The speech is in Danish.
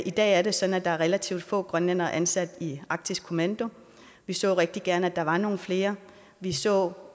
i dag er det sådan at der er relativt få grønlændere ansat i arktisk kommando vi så rigtig gerne at der var nogle flere vi så